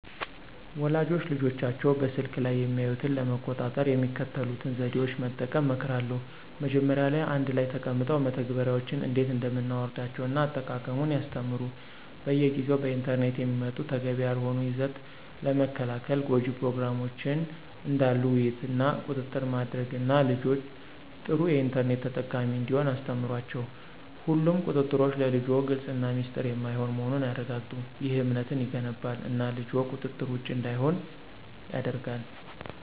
ወላጆች ልጆቻቸው በስልክ ላይ የሚያዩትን ለመቆጣጠር የሚከተሉትን ዘዴዎች መጠቀም እመክራለሁ። መጀመሪያ ላይ አንድ ላይ ተቀምጠው መተግበሪያዎችን እንዴት እንደምናወርዳቸውን እና አጠቃቀሙን ያስተምሩ። በየጊዜው በኢንተርኔት የሚመጡ ተገቢ ያልሆነ ይዘት ለመከልከል ጎጅ ፕሮግራሞችን ዳሉ ውይይት እና ቁጥጥር ማድረግ እና ልጅዎ ጥሩ የኢንተርኔት ተጠቃሚ እንዲሆን አስተምሯቸው። ሁሉም ቁጥጥሮች ለልጅዎ ግልፅ እና ሚስጥር የማይሆን መሆኑን ያረጋግጡ። ይህ እምነትን ይገነባል እና ልጅዎ ቁጥጥር ውጭ እንዳይሆን ያደርጋል።